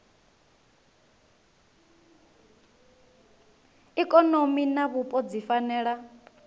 ikonomi na vhupo dzi fanela